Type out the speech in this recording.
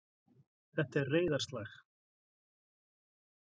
Þetta er. reiðarslag.